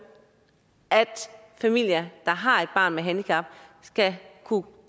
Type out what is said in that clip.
at familier der har et barn med handicap skal kunne